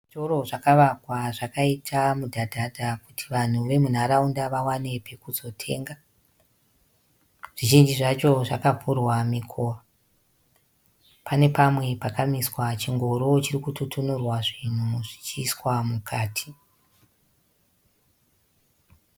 Zvitoro zvakavakwa zvakaita mudhadhadha kuti vanhu vemunharaunda vawane pekuzotenga. Zvizhinji zvacho zvakavhurwa mikova. Pane pamwe pakamiswa chingoro chiri kututunurwa zvinhu zvichiiswa mukati.